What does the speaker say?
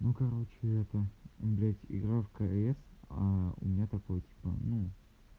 ну короче это блять игра в кс а у меня такой типа ну